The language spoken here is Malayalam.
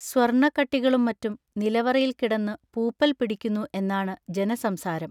സ്വർണ കട്ടികളും മറ്റും നിലവറയിൽ കിടന്നു പൂപ്പൽ പിടിക്കുന്നു എന്നാണ് ജനസംസാരം.